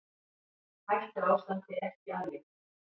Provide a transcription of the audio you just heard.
Hættuástandi ekki aflétt